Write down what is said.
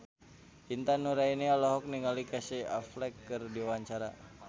Intan Nuraini olohok ningali Casey Affleck keur diwawancara